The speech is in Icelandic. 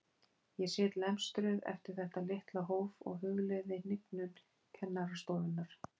Ég sit lemstruð eftir þetta litla hóf og hugleiði hnignun kennarastofunnar.